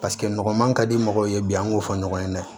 Paseke nɔgɔman ka di mɔgɔw ye bi an b'o fɔ ɲɔgɔn ye dɛ